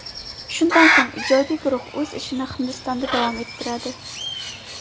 Shundan so‘ng ijodiy guruh o‘z ishini Hindistonda davom ettiradi.